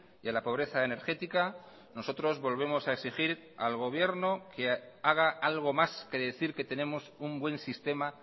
y a la pobreza energética nosotros volvemos a exigir al gobierno que haga algo más que decir que tenemos un buen sistema